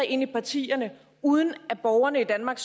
ind i partierne uden at borgerne i danmark